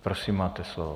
Prosím, máte slovo.